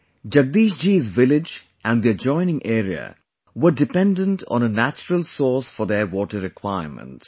Jagdish ji's village and the adjoining area were dependent on a natural source for their water requirements